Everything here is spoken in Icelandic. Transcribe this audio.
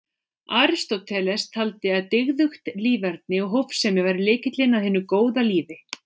Aristóteles taldi að dygðugt líferni og hófsemi væri lykillinn að hinu góða lífi.